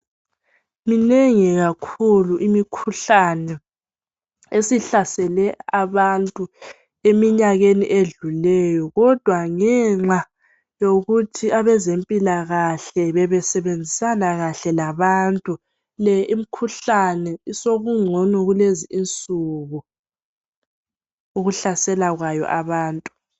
Minengi kakhulu imikhuhlane esihlasela abantu eminyakeni edlulileyo. Kodwa ngenxa yokuthi abazempilakahle bebesebenzisana kahle labantu le imikhuhlane sokungcono kulezi insuku ukuhlasela abantu.